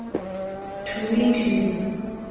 to meet you